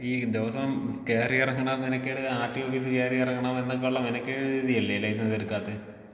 ഈ ദിവസവും കേറി ഇറങ്ങ്ണ മെനക്കേട് ആർടിഒ ഓഫീസ് കേറി ഇറങ്ങണം എന്നൊക്കെയുള്ള മെനക്കേട് കരുതി അല്ലേ ലൈസൻസ് എടുക്കാത്തെ.